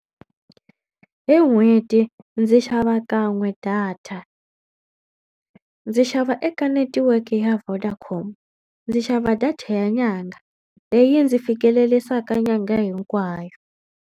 Hi n'hweti ndzi xava kan'we data. Ndzi xava eka netiweke ya Vodacom ndzi xava data ya nyangha leyi ndzi fikelelisaka nyangha hinkwayo.